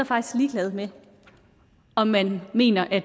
faktisk ligeglad med om man mener